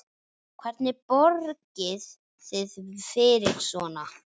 Hvernig borgið þið fyrir svona?